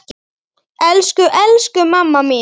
Elsku, elsku mamma mín.